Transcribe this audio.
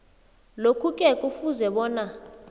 lokhuke kufuze bona